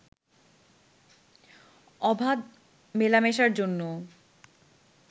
অবাধ মেলামেশার জন্য